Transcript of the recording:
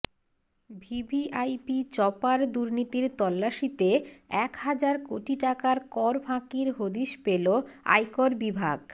VVIP chopper দুর্নীতির তল্লাশিতে এক হাজার কোটি টাকার কর ফাঁকির হদিশ পেলো আয়কর বিভাগ